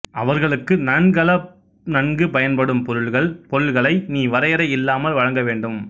அவர்களுக்கு நன்கலப் நன்கு பயன்படும் பொருள்கள் பொருள்களை நீ வரையறை இல்லாமல் வழங்க வேண்டும்